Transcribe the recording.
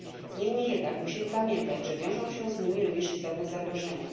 Niemniej jednak musimy pamiętać, że wiążą się z nimi również istotne zagrożenia.